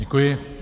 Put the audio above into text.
Děkuji.